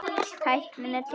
Tæknin er til.